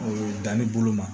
Danni bolo ma